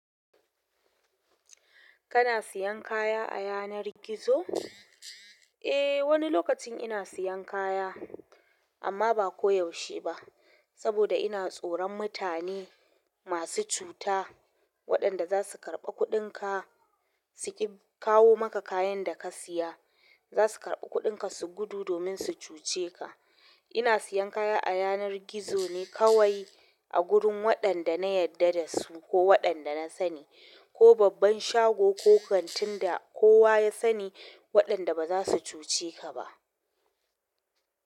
Kana siyan kaya a yanar gizo? Eh, wani lokacin ina siyan kaya, amma ba ko yaushe ba saboda ina tsoron mutane masu cuta waɗanda za su karɓi kuɗinka, su ƙi kawo maka kayan da ka siya. Za su karɓi kuɗinka su gudu domin su cuce ka. Ina siyan kaya a yanar gizo ne kawai a gurin waɗanda na yadda da su ko waɗanda na sani ko babban shago ko kantin da kowa ya sani waɗanda ba za su cuce ka ba.